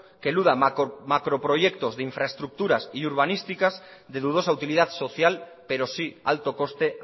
que eluda macroproyectos de infraestructuras urbanísticas de dudosa utilidad social pero sí alto coste